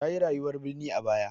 Ta yi rayuwar birni a baya.